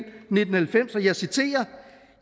nitten halvfems og jeg citerer